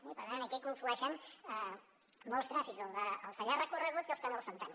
i per tant aquí hi conflueixen molts trànsits els de llarg recorregut i els que no ho són tant